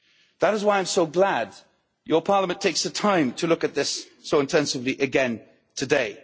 That is why I'm so glad your Parliament has taken the time to look at this so intensively again today.